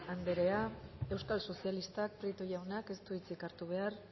anderea euskal sozialistak prieto jaunak ez du hitzik hartu behar